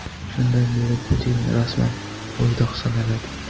Shundan beri Putin rasman bo‘ydoq sanaladi.